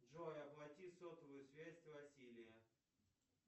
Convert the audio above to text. джой оплати сотовую связь василия